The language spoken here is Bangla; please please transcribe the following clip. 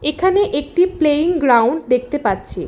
এখানে একটি প্লেয়িং গ্রাউন্ড দেখতে পাচ্ছি।